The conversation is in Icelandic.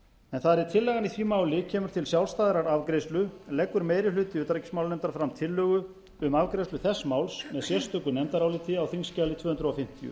þar eð tillagan í því máli kemur til sjálfstæðrar afgreiðslu leggur meiri hluti utanríkismálanefndar fram tillögu um afgreiðslu þess máls á sérstöku nefndaráliti á þingskjali tvö hundruð fimmtíu